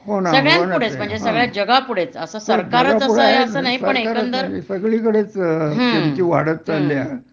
हो ना हो जगापुढे आहेच सरकारच असं नाही सांगलीकडे सगळीकडे किमती वाढत चालली आहे